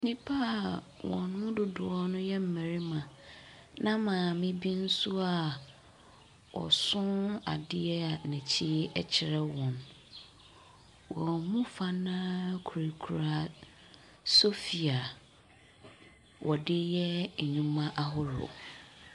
Nnipa wɔn mu dodoɔ yɛ mmarima na maame bi nso a ɔso adeɛ a n’akyi kyerɛ wɔn, wɔn mu dodoɔ no ara kurakura sɔfi a wɔde yɛ nnwuma ahodoɔ.